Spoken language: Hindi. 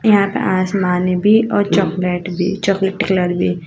यहां पे आसमानी भी और चॉकलेट भी चॉकलेट कलर भी --